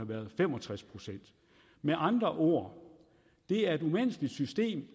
været fem og tres procent med andre ord det er et umenneskeligt system